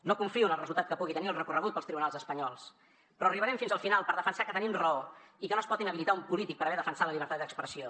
no confio en el resultat que pugui tenir el recorregut pels tribunals espanyols però arribarem fins al final per defensar que tenim raó i que no es pot inhabilitar un polític per haver defensat la llibertat d’expressió